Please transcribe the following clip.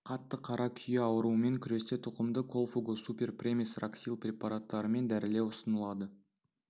қатты қара күйе ауруымен күресте тұқымды колфуго-супер премис раксил препараттарымен дәрілеу ұсынылады